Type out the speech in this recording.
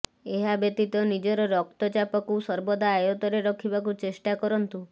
ଏହା ବ୍ୟତୀତ ନିଜର ରକ୍ତଚାପକୁ ସର୍ବଦା ଆୟତ୍ତରେ ରଖିବାକୁ ଚେଷ୍ଟା କରନ୍ତୁ